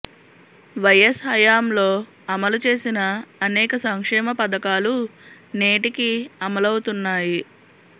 YS హయాంలో అమలు చేసిన అనేక సంక్షేమ పథకాలు నేటికీ అమలవుతున్నాయి